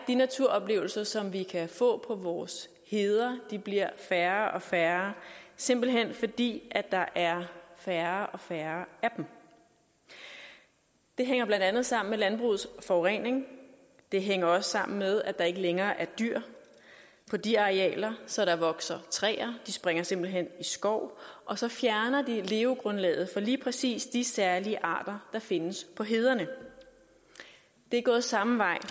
naturoplevelser som vi kan få på vores heder færre og færre simpelt hen fordi der er færre og færre af dem det hænger blandt andet sammen med landbrugets forurening det hænger også sammen med at der ikke længere er dyr på de arealer så der vokser træer de springer simpelt hen i skov og så fjerner de levegrundlaget for lige præcis de særlige arter der findes på hederne det er gået samme vej